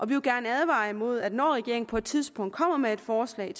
vil gerne advare imod at når regeringen på et tidspunkt kommer med et forslag